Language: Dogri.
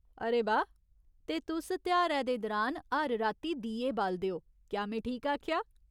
अरे बाह्। ते तुस तेहारै दे दरान हर राती दीए बालदे ओ, क्या में ठीक आखेआ ?